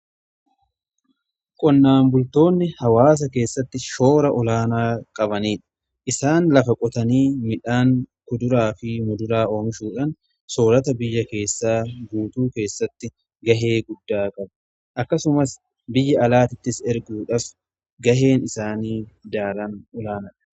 qonnaan bultoonni hawaasa keessatti shoora olaanaa kan qabaniidha. isaan lafa qotanii midhaan kuduraa fi muduraa oomishuudhan soorata biyya keessaa guutuu keessatti gahee guddaa qabu. akkasumas biyya alaattis erguudhaaf gaheen isaanii daran olaanaadha.